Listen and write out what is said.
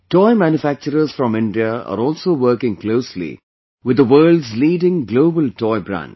Toy manufacturers from India are also working closely with the world's leading Global Toy Brands